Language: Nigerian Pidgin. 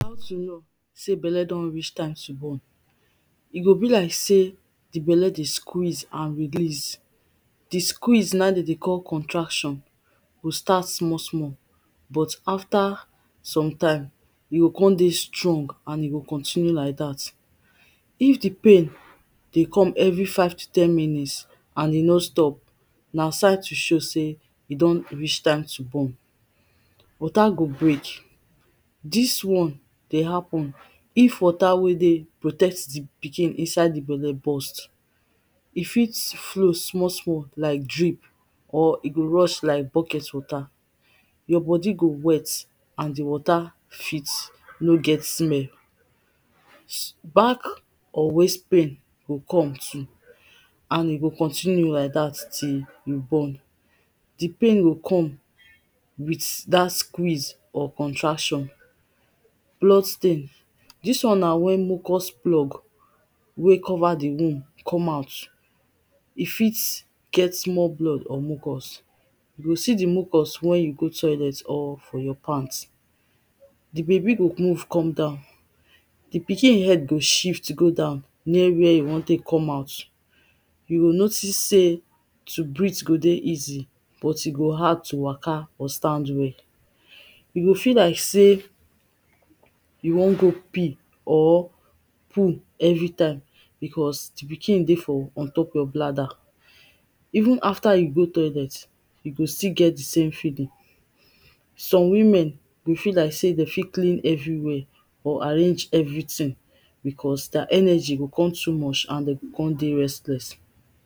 How to know sey belle don reach time to born. E go be like sey di belle dey sqeeze and release. Di squeeze na im dem dey call contraction, e go start small small but after some time e go come dey strong and e go continue like dat. If dey pain dey come every five to ten minute and e no stop, na sign to show sey e don reach time to born. Water go break; dis one dey happen if water wen dey protect di pikin inside di belle burst. E fit flow small small like drip or e go rush like bucket water, your body go wet and di water fit nor get smell. Back or waist pain go come too, and e go continue like dat till you born. Di pain go come with dat squeeze or contraction. Clothe stain; dis one na wen mucus plug wey cover di womb come out. E fit get small blood or mucus, you fit see di mucus wen you go toilet or for your pant. Di baby go move come down, di baby head go shift go down near where e wan take come out, you go notice sey to breathe go dey easy but e go hard to waka or stand well, you go feel like sey you wan go pee or poo every time because di pikin dey for unyou’re your bladder. Even after you go toilet, you go still get di same feeling. Some women go feel like sey dem fit clean everywhere or arrange everything because their energy go come too much and dem go come dey restless